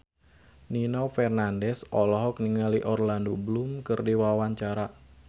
Nino Fernandez olohok ningali Orlando Bloom keur diwawancara